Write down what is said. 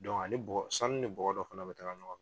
ani bɔgɔ sanu ni bɔgɔ dɔ fana bɛ taga ɲɔgɔn